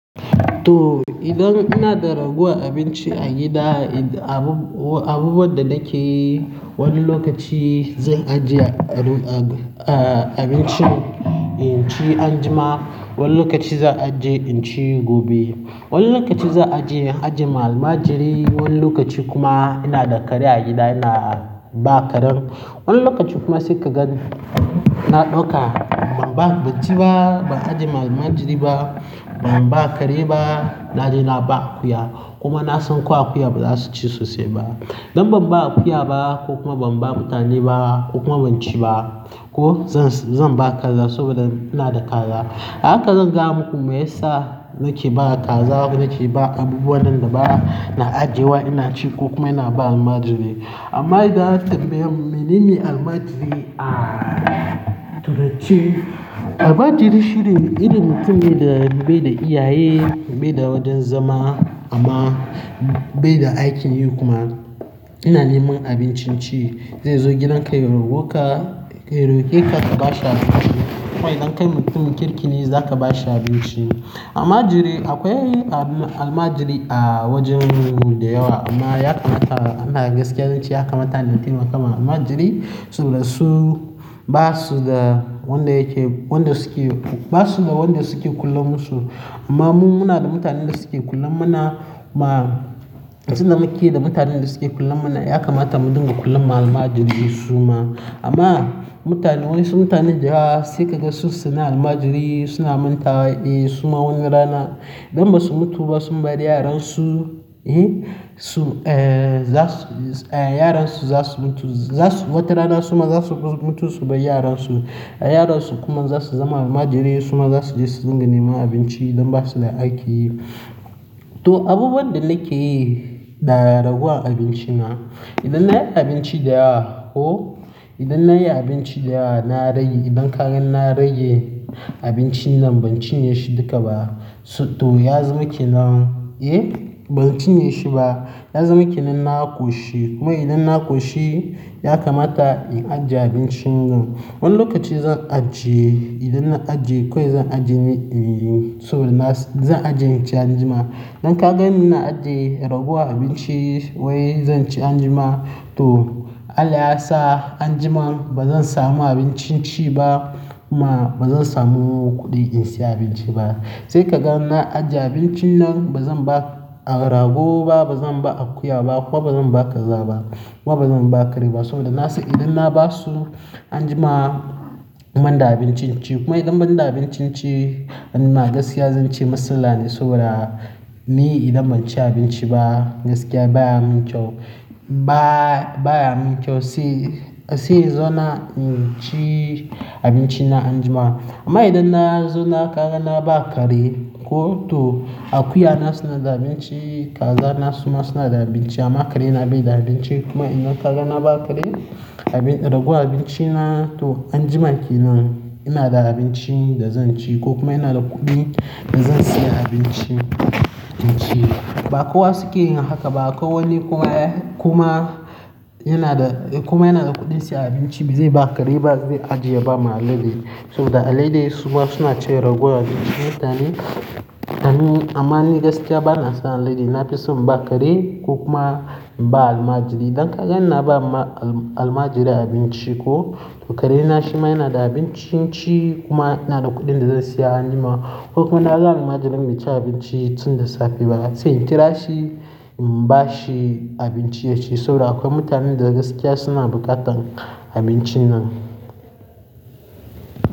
To idan ina da rayuwar abinci a gida, abubuwan da nake yi, wani lokaci zan ajiye abincin in ci anjima, wani lokaci zan ajiye in ci gobe. Wani lokaci zan ajiye, ajiye malmajiri, wani lokaci kuma ina da kare a gida ina ba karen. Wani lokaci kuma sai ka ga na ɗauka ban ba, ban ci ba, ban ajiye malmajiri ba, ban ba kare ba, na je na ba akuya. Kuma na san ko akuya ba za su ci sosai ba. Dan ban ba akuya ba ko kuma ban ba mutane ba ko kuma ban ci ba ko zan, zan ba kaza saboda ina da kaza. A haka zan ga muku me yasa nake ba kaza ko nake ba abubuwan nan da ba ina ajiyewa ina ci ko kuma ina ba almajiri. Amma idan aka tanbaye mu, menene almajiri? A, to datti. Almajiri shine irin mutum ne da bai da iyaye, bai da wajen zama amma bai da aikin yi kuma. Ina neman abinci in ci. Zai zo gidan ka ya rokeka kabashi abinci amma idan kai mutumin kirki ne za ka bashi abinci. Almajiri akwai almajiri a wajenmu da yawa amma ya kamata ana gaskiya zan ce ya kamata na taimakawa. Almajiri suna su, ba su da wanda yake, wanda suke, ba su da wanda suke kullan musu. Amma mu muna da mutanen da suke kullan ma na ma, tunda muke da mutanen da suke kulan a na ya kamata mu dinga kulan almajiri su ma. Amma mutane wasu yansu mutanen sai ka ga sun sani almajiri suna manta wa, eh su ma wani rana idan ba su mutu ba sun bari yaran su, eh su, eh za su, yaran su za su mutu. Wata rana su ma za su mutu su bar yaran su, yaran su kuma za su zama almajirai su ma za su je su dinga neman abinci idan ba su da aikin yi. To abubuwan da nake yi da ragowan abinci na, idan na yi abinci da yawa, ko idan na yi abinci da yawa na rage, idan ka gan na rage abincin nan ban cin ƴe shi duka ba. To yazama kenan eye ban cinye shi ba yazama kenan na ƙwaci kuma idan na ƙoci yakamata in ajiye abincin na in ci anjima dan ka gani ina ajiye ragon abinci wai zan ci anjima to Allah ya sa anjima ba zan samu abincin ci ba kuma ba zan samu kuɗi in siya abinci ba. Sai ka ga na ajiye abincin nan bazan ba rago bazan ba akuya bazan ba kare bazan ba kariya domin saboda idon kuma idan ban da abincin ci, amma gaskiya zan ce maslalla ne saboda ni idan ban ci abinci ba gaskiya baya min kyau. Ba, baya min kyau sai, sai in zo nan ci abinci na anjima. Amma idan na zo na ga na bawa kare ko to akuya na suna da abinci, kaza na su ma suna da abinci amma kare na bai da abinci kuma idan ka ga na ba kare, ragon abinci na to anjima kenan ina da abinci da zan ci ko kuma ina da kuɗin da zan siya abinci in ci. Ba kowa suke yin haka ba akwai wani kuma yana da, kuma yana da kuɗin siya abinci bai ba kare ba zai ajiye ya ba ma alade. Saboda alade su ma suna cin ragowar abinci na mutane. Amma ni gaskiya ba na son alade na fi son inbawa kare ko kuma in ba almajiri. Dan ka kaga ina bama almajiri abinci ko karen na shi ma yana da abinci in ci kuma ina da kuɗin da zan siya anjima ko kuma na sa almajirin ya ci abinci tun da safe ba sai in kira shi in ba shi abinci ya ci saboda akwai mutanen da gaskiya suna buƙatan abincin nan.